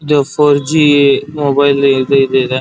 ಇದು four G mobile ಇದು ಇದೆ.